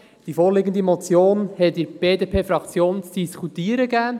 Die vorliegende Motion gab in der BDPFraktion zu diskutieren.